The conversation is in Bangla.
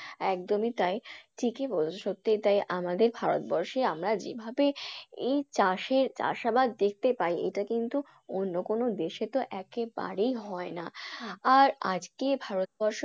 একদমই তাই ঠিকই বলেছ সত্যই তাই আমাদের ভারতবর্ষে আমরা যেভাবে এই চাষে চাষাবাদ দেখতে পাই এটা কিন্তু অন্য কোনো দেশে তো একেবারেই হয়না। আর আজকে ভারতবর্ষ